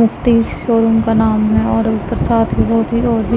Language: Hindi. मुफ्ती शोरूम का नाम है और ऊपर साथ ही बहुत ही और भी --